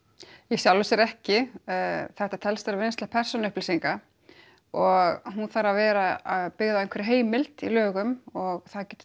í sjálfu sér ekki þetta telst vera vinnsla persónuupplýsinga og hún þarf að vera byggð á einhverri heimild í lögum og það getur